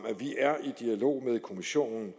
at vi er i dialog med kommissionen